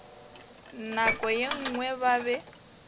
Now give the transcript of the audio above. nako ye nngwe ba be